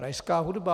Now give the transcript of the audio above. Rajská hudba.